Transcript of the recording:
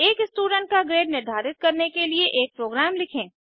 एक स्टूडेंट का ग्रेड निर्धारित करने के लिए एक प्रोग्राम लिखें